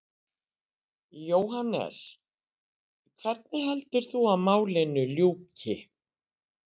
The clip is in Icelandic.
Jóhannes: Hvernig heldur þú að málinu ljúki?